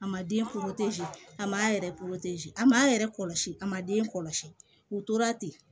A ma den a ma yɛrɛ a m'a yɛrɛ kɔlɔsi a ma den kɔlɔsi u tora ten